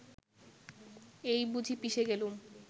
এই বুঝি পিষে গেলুম